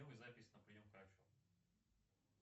запись на прием к врачу